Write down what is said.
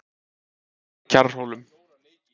Kjarrhólum